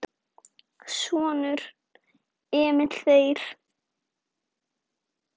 Sonur: Emil Þeyr.